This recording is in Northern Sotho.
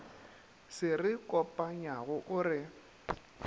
se re kopanyago o re